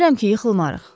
Deyirəm ki, yıxılmarıq.